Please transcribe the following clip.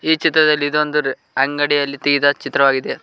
ಈ ಚಿತ್ರದಲ್ಲಿ ಇದೊಂದು ಅಂಗಡಿಯಲ್ಲಿ ತೆಗೆದ ಚಿತ್ರವಾಗಿದೆ.